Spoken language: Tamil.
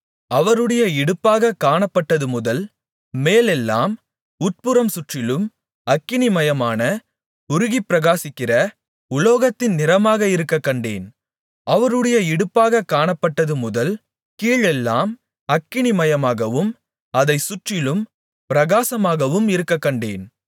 அவருடைய இடுப்பாகக் காணப்பட்டதுமுதல் மேலெல்லாம் உட்புறம் சுற்றிலும் அக்கினிமயமான உருகிப்பிரகாசிக்கிற உலோகத்தின் நிறமாக இருக்கக்கண்டேன் அவருடைய இடுப்பாகக் காணப்பட்டதுமுதல் கீழெல்லாம் அக்கினிமயமாகவும் அதைச் சுற்றிலும் பிரகாசமாகவும் இருக்கக்கண்டேன்